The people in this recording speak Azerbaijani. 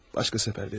Başqa səfər ver.